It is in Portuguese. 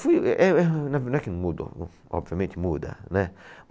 Eh, eh, não é que mudou, obviamente muda, né?